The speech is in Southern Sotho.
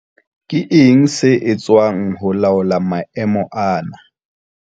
Ke eng se etswang ho laola maemo ana?